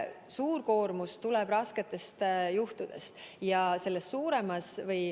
Suur koormus tuleb rasketest juhtudest.